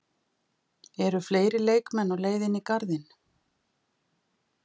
Eru fleiri leikmenn á leiðinni í Garðinn?